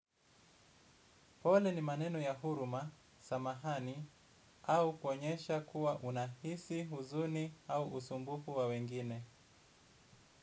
Pole ni maneno ya huruma, samahani, au kuonyesha kuwa unahisi, huzuni, au usumbufu wa wengine.